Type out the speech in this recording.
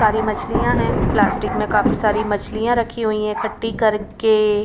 सारी मछलियां हैं प्लास्टिक में काफी सारी मछलियां रखी हुई है इकट्ठी करके--